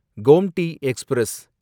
Gomti express